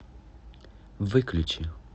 выключи